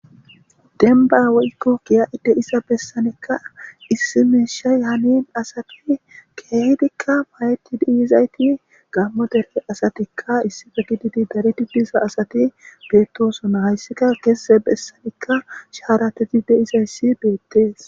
denba woykko kiya7ide isa bessanikka issimeeshay hanin asati keehidikka mayeti dhiyizayti gammo dere asatikka issife gididi daredi diisa asati beettosona hayssika keese bessanikka shaarateti deizayssi beettees